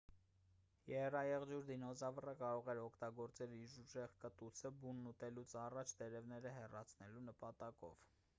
եռաեղջյուր դինոզավրը կարող էր օգտագործել իր ուժեղ կտուցը բունն ուտելուց առաջ տերևները հեռացնելու նպատակով